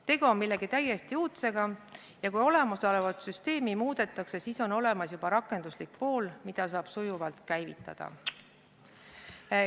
Tegu on millegi täiesti uudsega ja kui olemasolevat süsteemi muudetakse, siis on juba olemas rakenduslik pool, mida saab sujuvalt käivitada.